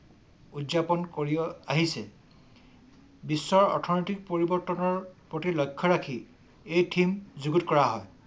উদযাপন কৰি আহিছে । বিশ্বৰ অৰ্থনৈতিক পৰিৱৰ্তনৰ প্ৰতি লক্ষ্য ৰাখি এই ঠিম যুগুত কৰা হয়।